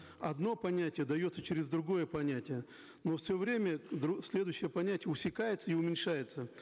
одно понятие дается через другое понятие но все время следующее понятие усекается и уменьшается